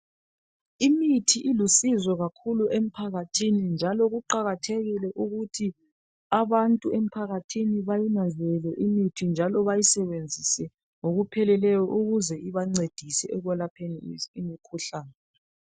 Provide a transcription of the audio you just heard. Imithi ilusizo kakhulu emphakathini njalo kuqakathekile ukuthi abantu emphakathini bayinanzelele imithi njalo bayisebenzise ngoku pheleleyo ukuze ibancedise ekwelapheni imikhuhlane.